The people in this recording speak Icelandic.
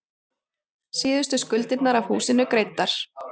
Síðustu skuldirnar af húsinu greiddar.